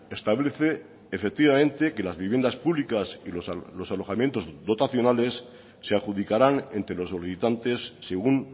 establece efectivamente que las viviendas públicas y los alojamientos dotacionales se adjudicarán entre los solicitantes según